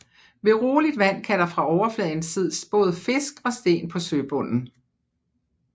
Ved roligt vand kan der fra overfladen ses både fisk og sten på søbunden